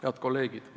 Head kolleegid!